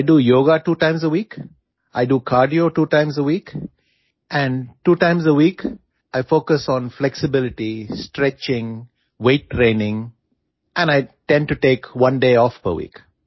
I do yoga two times a week I do cardio two times a week and two times a week I focus on flexibility stretching weight training and I tend to take one day off per week